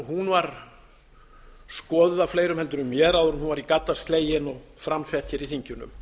tillaga skoðuð af fleirum heldur en mér áður en hún var í gadda slegin og framsett hér í þinginu